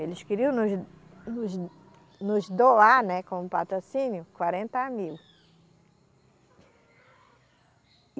Eles queriam nos, nos, nos doar, né como patrocínio, quarenta mil.